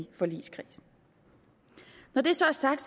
i forligskredsen når det så er sagt